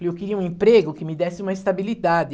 E eu queria um emprego que me desse uma estabilidade.